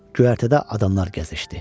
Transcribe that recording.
Göyərtədə adamlar gəzişdi.